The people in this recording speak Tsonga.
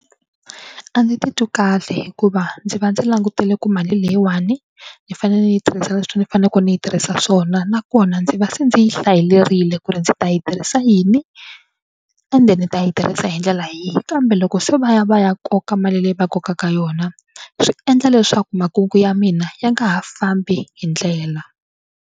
A ndzi titwi kahle hikuva ndzi va ndzi langutele ku mali leyiwani ni fanele ni yi tirhisa leswi ni faneleke ni yi tirhisa swona nakona ndzi va se ndzi yi hlayelerile ku ri ndzi ta yi tirhisa yini ende ni ta yi tirhisa hi ndlela yihi kambe loko se va ya va ya koka mali leyi va kokaka yona swi endla leswaku makungu ya mina ya nga ha fambi hi ndlela.